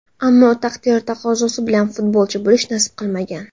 Ammo taqdir taqozosi bilan futbolchi bo‘lish nasib qilmagan.